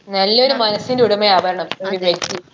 നല്ലൊരു മനസിന്റെ ഉടമയാവണം ഒരു വ്യക്തി